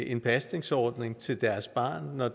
en pasningsordning til deres barn når